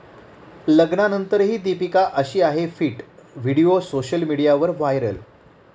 लग्नानंतरही दीपिका 'अशी' आहे फिट, व्हिडिओ सोशल मीडियावर व्हायरल